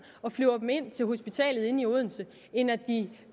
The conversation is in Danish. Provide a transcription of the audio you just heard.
og flyver dem ind til hospitalet inde i odense end at de